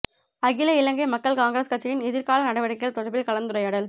அகில இலங்கை மக்கள் காங்கிரஸ் கட்சியின் எதிர் கால நடவடிக்கைகள் தொடர்பில் கலந்துரையாடல்